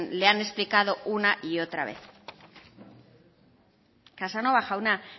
le han explicado una y otra vez casanova jauna